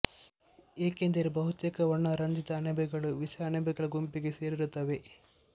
ಏಕೆಂದರೆ ಬಹುತೇಕ ವರ್ಣರಂಜಿತ ಅಣಬೆಗಳು ವಿಷ ಅಣಬೆಗಳ ಗುಂಪಿಗೆ ಸೇರಿರುತ್ತವೆ